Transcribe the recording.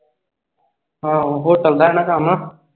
ਆਹੋ hotel ਦਾ ਆ ਨਾ ਕੰਮ